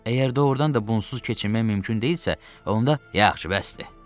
Əgər doğrudan da bunsuz keçirmək mümkün deyilsə, onda yaxşı, bəsdir.